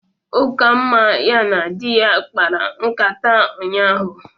Ukamma ya na di ya kpara nkata ụnyahụ